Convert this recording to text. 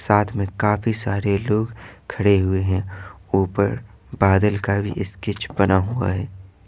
साथ में काफी सारे लोग खड़े हुए हैं ऊपर बादल का भी स्केच बना हुआ है।